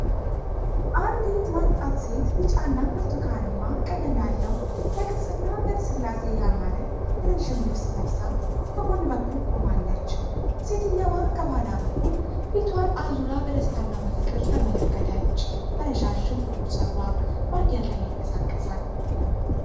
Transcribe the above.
አንዲት ወጣት ሴት ቢጫና ብርቱካንማ ቀለም ያለው በቅርጽና በልስላሴ ያማረ ረዥም ልብስ ለብሳ በጎን በኩል ቆማለች። ሴትየዋ ከኋላ በኩል ፊቷን አዙራ በደስታ እና በፍቅር ተመለከተች፤ ረዣዥም ጥቁር ፀጉሯ በአየር ላይ ይንቀሳቀሳል።